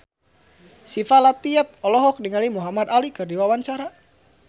Syifa Latief olohok ningali Muhamad Ali keur diwawancara